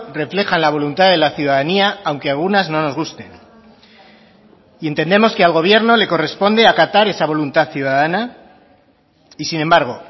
reflejan la voluntad de la ciudadanía aunque a algunas no nos gusten y entendemos que al gobierno le corresponde acatar esa voluntad ciudadana y sin embargo